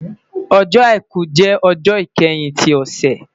Ọjọ́-Àìkú jẹ ọjọ ikẹhin ti ọsẹ